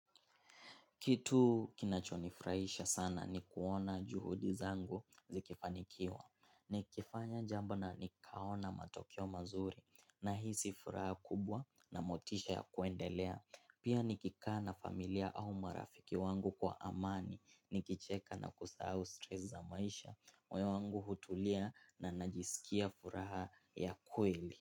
Kitu kinacho nifurahisha sana ni kuona juhudi zangu zikifanikiwa. Nikifanya jambo na nikaona matokeo mazuri nahisi furaha kubwa na motisha ya kuendelea. Pia nikikaa na familia au marafiki wangu kwa amani nikicheka na kusahau stress za maisha. Meoyowangu hutulia na najisikia furaha ya kweli.